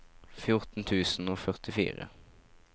fjorten tusen og førtifire